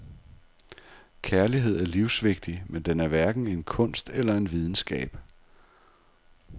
Kærlighed er livsvigtig, men den er hverken en kunst eller en videnskab.